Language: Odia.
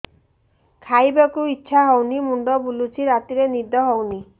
ଖାଇବାକୁ ଇଛା ହଉନି ମୁଣ୍ଡ ବୁଲୁଚି ରାତିରେ ନିଦ ହଉନି